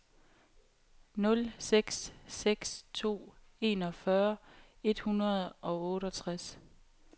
nul seks seks to enogfyrre et hundrede og otteogtres